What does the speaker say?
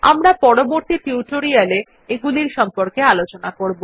আমরা পরবর্তী টিউটোরিয়াল এ এইগুলির সম্পর্কে আলোচনা করবো